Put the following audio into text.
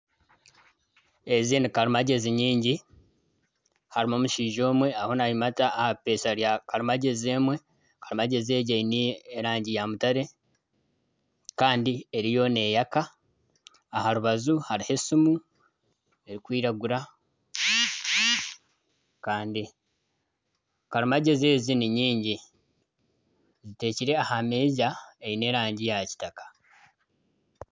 Ezi ni karimagyezi nyingi ,harimu omushaija omwe ariyo nayimata aha eipeesha rya karimagyezi emwe. Karimagyezi egi eine erangi ya mutare kandi eriyo neyaka. Aha rubaju hariho esimu erikwiragura kandi karimagyezi ezi ni nyingi ziteirwe aha meeza eine erangi ya kitaka.